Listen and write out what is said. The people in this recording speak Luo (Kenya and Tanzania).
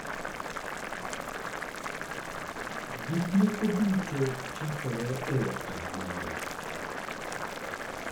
Gik moko duto chakore e okang' moro.